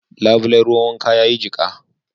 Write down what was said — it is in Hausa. Labulen ruwan wanka ya yi jika